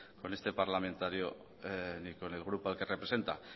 con este parlamentario ni con el grupo al que representa